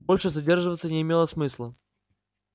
больше задерживаться не имело смысла